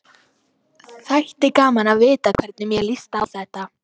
Þætti gaman að vita hvernig þér líst á þetta?